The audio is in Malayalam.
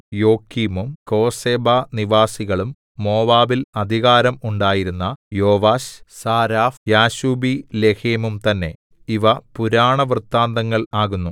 യോക്കീമും കോസേബാ നിവാസികളും മോവാബിൽ അധികാരം ഉണ്ടായിരുന്ന യോവാശ് സാരാഫ് എന്നിവരും യാശുബീലേഹെമും തന്നേ ഇവ പുരാണവൃത്താന്തങ്ങൾ ആകുന്നു